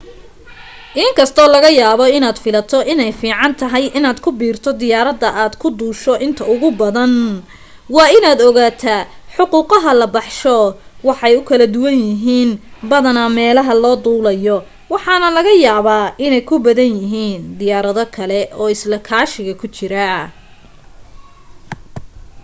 in kastoo laga yaaba inaad filato inay fiican tahay inaad ku biirto diyaarada aad ku duusho inta ugu badan waa inaad ogaataa xuquqaha la baxsho way u kala duwan yihiin badanaa meelaha loo duulayo waxaana laga yaaba inay ku badan yihiin diyaarado kale oo isla kaashiga ku jira